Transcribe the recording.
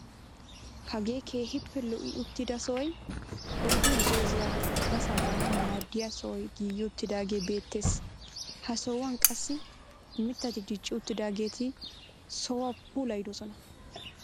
Hagee keehippe lo"i uttida sohoy oyddu zooziyaara ubbasaa baanawu maaddiyaa sohoy giigi uttidagee beettees. ha sohuwaan qassi mittati dicci uttidaageti sohuwaa puulayidosona.